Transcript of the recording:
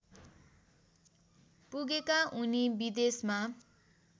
पुगेका उनी विदेशमा